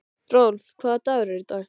Rolf, hvaða dagur er í dag?